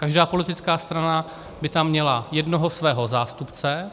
Každá politická strana by tam měla jednoho svého zástupce.